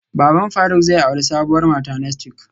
Baban faruk zai auri sabuwar mata next week